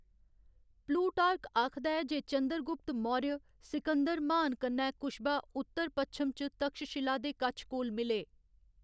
Plutarch आखदा ऐ जे चंद्रगुप्त मौर्य सिकंदर म्हान कन्नै कुश्बा उत्तर पच्छम च तक्षशिला दे कच्छ कोल मिले।